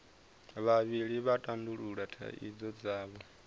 vhavhili vha tandulula thaidzo dzavho